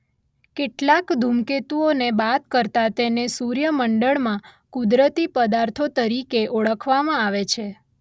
કેટલાક ધૂમકેતુઓને બાદ કરતા તેને સૂર્યમંડળમાં કુદરતી પદાર્થો તરીકે ઓળખવામાં આવે છે.